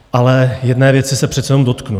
Ale jedné věci se přece jenom dotknu.